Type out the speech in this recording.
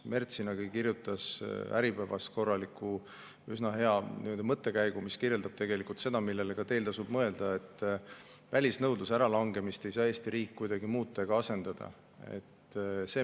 Mertsina kirjutas Äripäevas korraliku, üsna hea mõttekäigu, mis kirjeldab seda, millele ka teil tasub mõelda, et välisnõudluse äralangemist ei saa Eesti riik kuidagi muuta ega asendada.